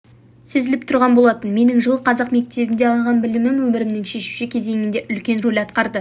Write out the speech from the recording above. сезіліп тұрған болатын менің жыл қазақ мектебінде алған білімім өмірімнің шешуші кезеңінде үлкен роль атқарды